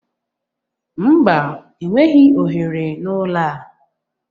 Mba, enweghị ohere na ụlọ a